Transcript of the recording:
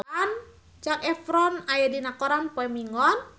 Zac Efron aya dina koran poe Minggon